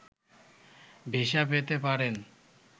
visa পেতে পারেন